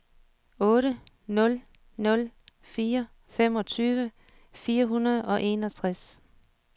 otte nul nul fire femogtyve fire hundrede og enogtres